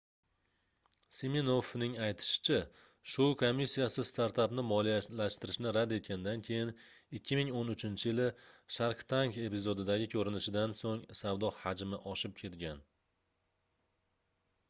siminoffning aytishicha shou komissiyasi startapni moliyalashtirishni rad etganidan keyin 2013-yili shark tank epizodidagi koʻrinishidan soʻng savdo hajmi oshib ketgan